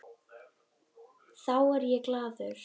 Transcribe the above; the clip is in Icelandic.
Þá er ég glaður.